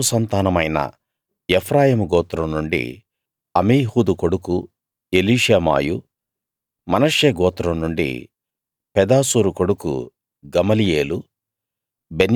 యోసేపు సంతానమైన ఎఫ్రాయిము గోత్రం నుండి అమీహూదు కొడుకు ఎలీషామాయు మనష్షే గోత్రం నుండి పెదాసూరు కొడుకు గమలీయేలు